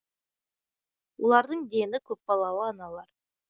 олардың дені көпбалалы аналар